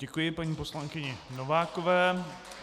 Děkuji paní poslankyni Novákové.